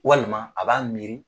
Walima a b'a miiri